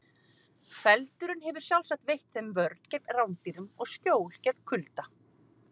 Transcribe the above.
Feldurinn hefur sjálfsagt veitt þeim vörn gegn rándýrum og skjól gegn kulda.